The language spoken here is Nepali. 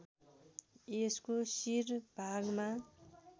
यसको शिर भागमा